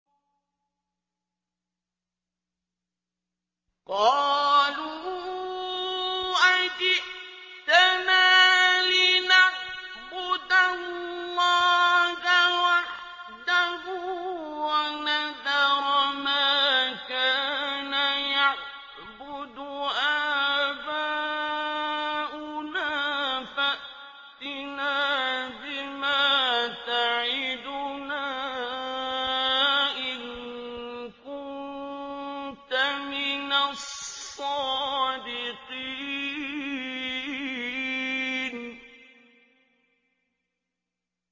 قَالُوا أَجِئْتَنَا لِنَعْبُدَ اللَّهَ وَحْدَهُ وَنَذَرَ مَا كَانَ يَعْبُدُ آبَاؤُنَا ۖ فَأْتِنَا بِمَا تَعِدُنَا إِن كُنتَ مِنَ الصَّادِقِينَ